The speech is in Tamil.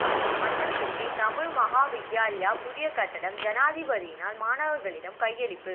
மன்னம்பிட்டி தமிழ் மகா வித்தியாலய புதிய கட்டடம் ஜனாதிபதியினால் மாணவர்களிடம் கையளிப்பு